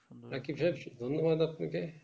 অনুরোধ আপনাকে